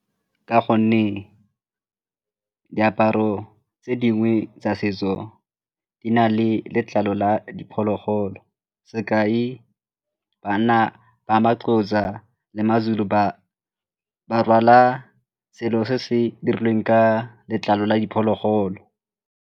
Ka gonne diaparo tse dingwe tsa setso di na le letlalo la diphologolo sekai bana ba ma-Xhosa kgotsa le ma-Zulu ba ba rwala selo se se dirilweng ka letlalo la diphologolo.